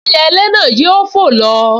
Ẹyẹlé náà yóò fò lọ